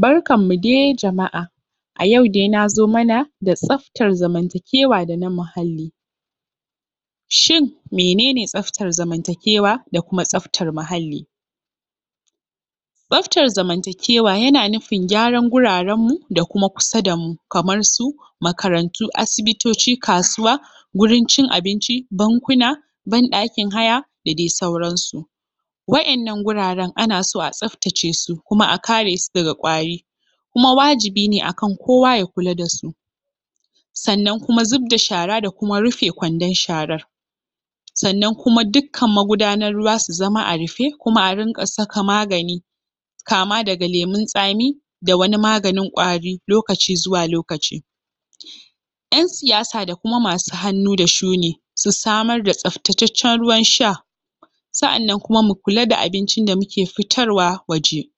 Barkanmu dai jama'a! yau nazo mana da taƙaitaccen bayani ne akan tsaftar zamantakewa dana muhalli toh shin menene tsaftar zamantakewa? tsaftar zamantakewa yana nu.. fin gyaran guraren mu da kuma kusa damu kamar su makarantu asibitoci kasuwanni guraren cin abinci bankuna banɗakin haya da dai sauran su wa'innan guraren ana so a tsaftace su kuma a kare su daga ƙwari kuma wajibi ne akan kowa ya kula dasu sa'annan da zubda shara da kuma kwandon sharan sannan kuma dukkan magudanar ruwa su zama a rufe kuma a rinƙa saka musu magani na lokaci zuwa lokaci ƴan siyasa da kuma masu hannu da shuni ya wajaba akansu dasu samar da tsaftataccen ruwan sha mu kula da abincin da muke fitarwa waje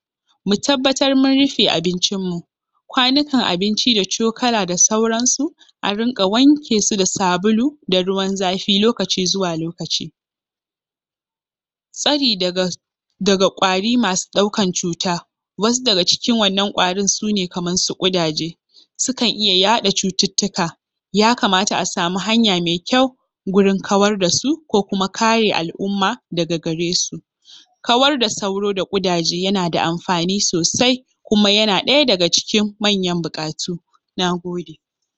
mu tabbatar mun rufe abincin mu kwanukan cin abinci da cokala da sauran su a rinƙa wanke su da sabulu da ruwan zafi tsari daga ƙwari masu yaɗa ƙwayoyin cuta kamar ƙudaje da sauro ya kamata a samu hanya mai kyau gurin kawar dasu ko kuma kare al'umma daga garesu kawar da sauro da ƙudaje yanada amfani sosai kuma yana ɗaya daga cikin manya-manyan buƙatu gurin samun tsaftataccen zamantakewa da kuma muhalli mai tsafta Nagode!